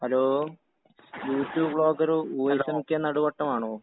Hello YouTube vlogger voice M K നടുവേട്ടമാണോ?